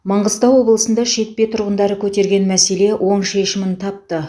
маңғыстау облысында шетпе тұрғындары көтерген мәселе оң шешімін тапты